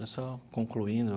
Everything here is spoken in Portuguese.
Eu só concluindo.